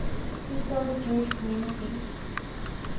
historic jewish communities